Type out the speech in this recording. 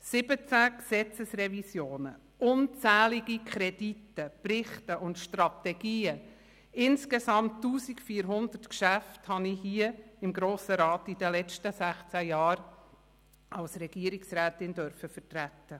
Siebzehn Gesetzesrevisionen, unzählige Kredite, Berichte und Strategien, insgesamt fast 1400 Geschäfte durfte ich hier im Grossen Rat während den letzten sechzehn Jahren als Regierungsrätin vertreten.